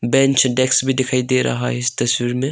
Bench desk भी दिखाई दे रहा है इस तस्वीर में।